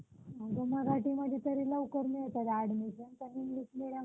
अं वातावरणात मोठ्या प्रमाणात बदल होताना दिसतोय. तर अं आपण बघितलं तर यासाठी कोणते घटक कारणीभूत आहेत? अं